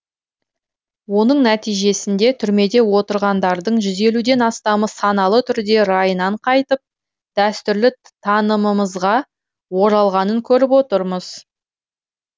оның нәтижесінде түрмеде отырғандардың жүз елуден астамы саналы түрде райынан қайтып дәстүрлі танымымызға оралғанын көріп отырмыз